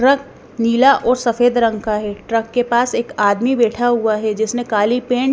truck नीला और सफेद रंग का है ट्रक के पास एक आदमी बैठा हुआ है जिसने काली पेंट --